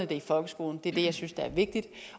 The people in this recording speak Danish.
det i folkeskolen det er det jeg synes er vigtigt